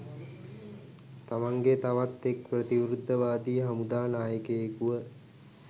තමන්ගේ තවත් එක් ප්‍රතිවිරුද්ද වාදී හමුදා නායකයකුව